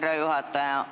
Aitäh, härra juhataja!